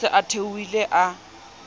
o se a theohile a